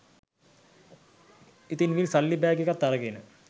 ඉතිං විල් සල්ලි බෑග් එකත් අරගෙන